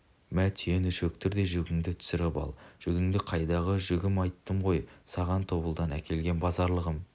мә түйені шөктір де жүгіңді түсіріп ал жүгіңді қайдағы жүгім айттым ғой саған тобылдан әкелген базарлығым